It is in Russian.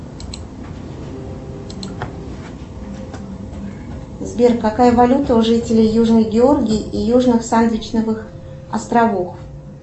сбер какая валюта у жителей южной георгии и южных сандвичевых островов